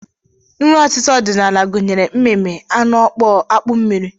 Nri ọtịta ọdịnala gụnyere mmimi, anụ ọkpọọ, akpụ mmiri